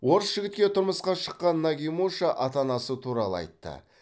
орыс жігітке тұрмысқа шыққан нагимуша ата анасы туралы айтты